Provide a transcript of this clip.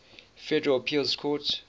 federal appeals court